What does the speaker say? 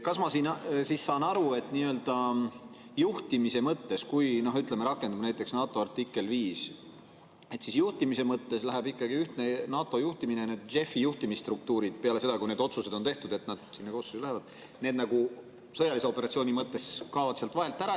Kas ma saan aru, et kui, ütleme, rakendub näiteks NATO artikkel 5, et juhtimise mõttes läheb ikkagi ühtne juhtimine NATO‑le ja JEF‑i juhtimisstruktuurid peale seda, kui need otsused on tehtud, et nad sinna koosseisu lähevad, need nagu sõjalise operatsiooni mõttes kaovad sealt vahelt ära?